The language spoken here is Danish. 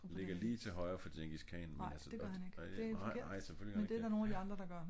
Ligger lige til højre for Djengis Khan vil jeg så. Ej det ej ej selvfølgelig gør han ikke det